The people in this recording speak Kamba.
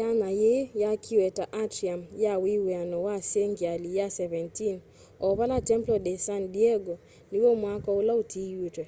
yanya yii yaakiwe ta atrium ya wiw'ano wa sengyali ya 17 o vala templo de san diego niw'o mwako ula utiítwe